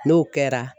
N'o kɛra